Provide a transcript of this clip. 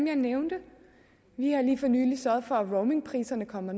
jeg nævnte vi har lige for nylig sørget for at roamingpriserne kommer